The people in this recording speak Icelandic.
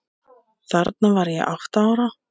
Þarna var ég átta ára.